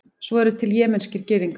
svo eru til jemenskir gyðingar